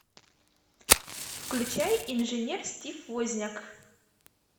включай инженер стив возняк